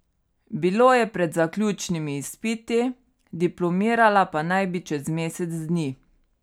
Bilo je pred zaključnimi izpiti, diplomirala pa naj bi čez mesec dni.